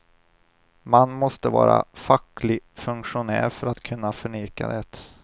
Man måste vara facklig funktionär för att kunna förneka det.